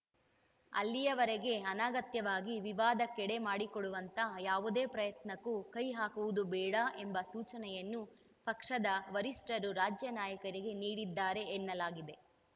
ಅಲ್ಲಿಯವರೆಗೆ ಅನಗತ್ಯವಾಗಿ ವಿವಾದಕ್ಕೆಡೆ ಮಾಡಿಕೊಡುವಂಥ ಯಾವುದೇ ಪ್ರಯತ್ನಕ್ಕೂ ಕೈಹಾಕುವುದು ಬೇಡ ಎಂಬ ಸೂಚನೆಯನ್ನು ಪಕ್ಷದ ವರಿಷ್ಠರು ರಾಜ್ಯ ನಾಯಕರಿಗೆ ನೀಡಿದ್ದಾರೆ ಎನ್ನಲಾಗಿದೆ